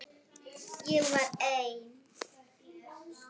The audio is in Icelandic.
Ég var ein.